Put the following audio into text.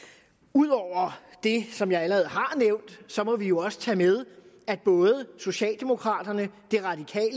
ud over det som jeg allerede har nævnt må vi jo også tage med at både socialdemokraterne